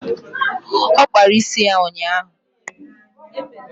Ọ kpara isi ya ụnyaahụ.